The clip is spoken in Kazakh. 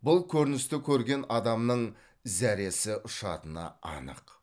бұл көріністі көрген адамның зәресі ұшатыны анық